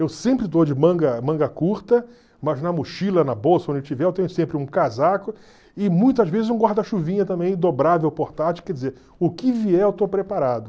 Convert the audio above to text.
Eu sempre estou de manga manga curta, mas na mochila, na bolsa, onde eu estiver, eu tenho sempre um casaco e muitas vezes um guarda-chuvinha também, dobrável, portátil, quer dizer, o que vier eu estou preparado.